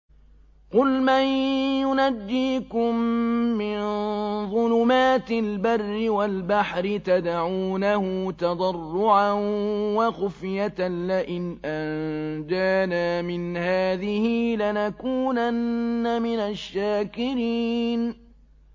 قُلْ مَن يُنَجِّيكُم مِّن ظُلُمَاتِ الْبَرِّ وَالْبَحْرِ تَدْعُونَهُ تَضَرُّعًا وَخُفْيَةً لَّئِنْ أَنجَانَا مِنْ هَٰذِهِ لَنَكُونَنَّ مِنَ الشَّاكِرِينَ